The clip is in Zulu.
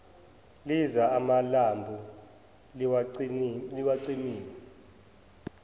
liza amalambu liwacimile